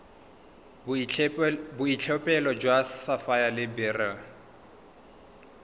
boitlhophelo jwa sapphire le beryl